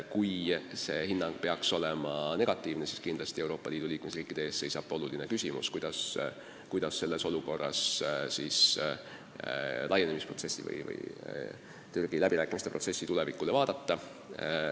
Kui antav hinnang peaks olema negatiivne, siis seisab Euroopa Liidu liikmesriikide ees keeruline küsimus, kuidas selles olukorras Türgi läbirääkimiste protsessile vaadata.